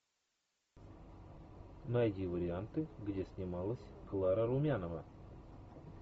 найди варианты где снималась клара румянова